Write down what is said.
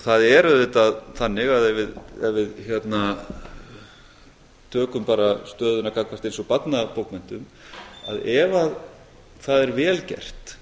það er auðvitað þannig að ef við tökum bara stöðuna gagnvart eins og barnabókmenntum að ef það er vel gert